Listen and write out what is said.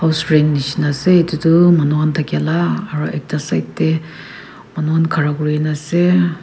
restraint nishina ase edu tu manu khan thakya la aru ekta side tae manu khan khara kurinaase.